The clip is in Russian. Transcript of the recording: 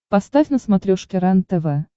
поставь на смотрешке рентв